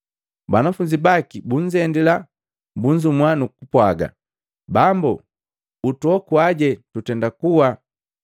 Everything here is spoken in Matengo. Banafunzi baki bunzendila, bunzumua nukupwaaga, “Bambu, utuokuaje tutenda kuwa!”